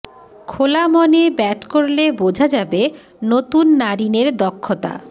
খোলা মনে ব্যাট করলে বোঝা যাবে নতুন নারিনের দক্ষতা